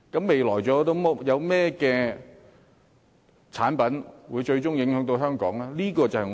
未來還有甚麼產品措施，最終會對香港造成影響呢？